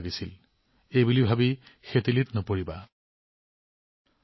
কেতিয়াও বিচনালৈ এই কথা ভাবি নাযাব মই অধিক চেষ্টা কৰিব পাৰিলোহেঁতেন